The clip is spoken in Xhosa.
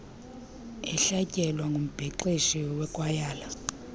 ehlatyelwe ngumbhexeshi wekwayala